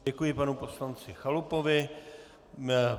Děkuji panu poslanci Chalupovi.